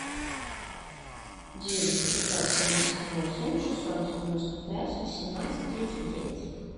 девять пятьсот семьдесят восемь шестьсот девяносто пять восемнадцать тридцать девять